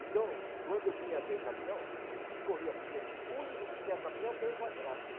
Então, quando vinha aquele caminhão, a gente corria, porque o único que tinha caminhão, meu padrasto.